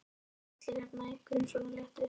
Það voru líka allir hérna í einhverju svona léttu.